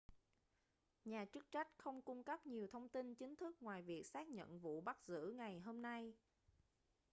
nhà chức trách không cung cấp nhiều thông tin chính thức ngoài việc xác nhận vụ bắt giữ ngày hôm nay